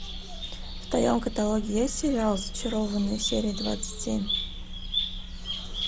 в твоем каталоге есть сериал зачарованные серия двадцать семь